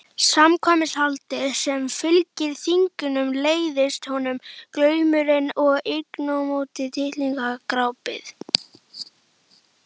Samkvæmishaldið sem fylgir þinginu leiðist honum, glaumurinn og innantómt tittlingadrápið.